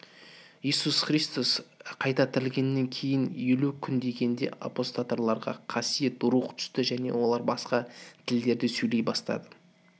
иисус христос қайта тірілгеннен кейін елу күн дегенде апосталдарға қасиет рух түсті және олар басқа тілдерде сөйлей бастады